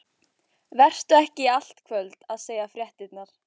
Vertu ekki í allt kvöld að segja fréttirnar.